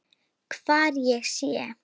Hvar ég sé.